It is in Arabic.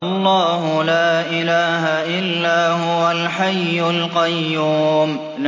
اللَّهُ لَا إِلَٰهَ إِلَّا هُوَ الْحَيُّ الْقَيُّومُ